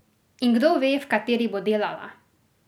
In kdo ve, v kateri bo delala!